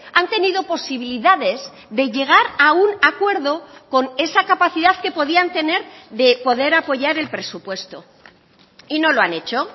han tenido posibilidades de llegar a un acuerdo con esa capacidad que podían tener de poder apoyar el presupuesto y no lo han hecho